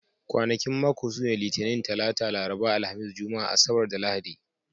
Kwanakin mako sune Litinin, Talata, Laraba, Alhamis, Juma'a, Asabar, da Lahadi.